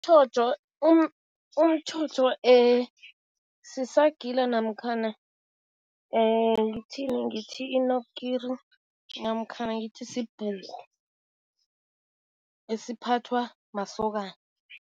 Umtjhotjho sisagila namkhana ngithini? Ngithi i-knobkerrie namkhana ngithi sibhuku esiphathwa masokana.